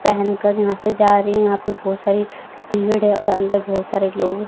पहेन कर यहां से जा रही हैं यहां पे बहोत सारी है और अंदर बहोत सारे लोग--